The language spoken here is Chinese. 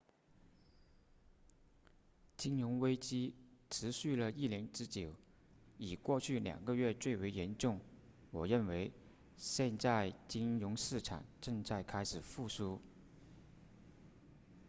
金融危机持续了一年之久以过去两个月最为严重我认为现在金融市场正在开始复苏